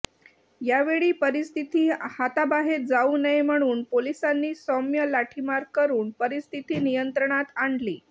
या वेळी परिस्थिती हाताबाहेर जाऊ नये म्हणून पोलिसांनी सौम्य लाठीमार करून परिस्थिती नियंत्रणात आणली